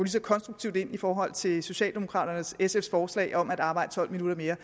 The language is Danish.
så konstruktivt ind i forhold til socialdemokraterne og sf’s forslag om at arbejde tolv minutter mere